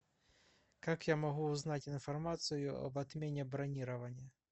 как я могу узнать информацию об отмене бронирования